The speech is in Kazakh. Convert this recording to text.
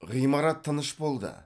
ғимарат тыныш болды